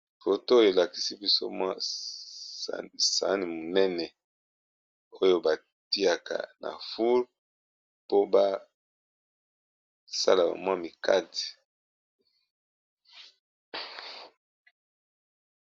roto elakisi biso mwa sane monene oyo batiaka nafule po basala mwa mikate